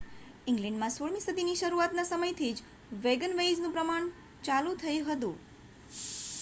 ઈંગ્લેન્ડમાં 16 મી સદીના શરૂઆતના સમયથી જ વેગનવેઇઝનું નિર્માણ ચાલુ થઈ ગયું હતું